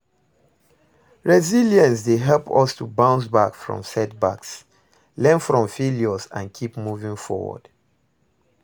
Resilience dey help us to bounce back from setbacks, learn from failures and keep moving forward.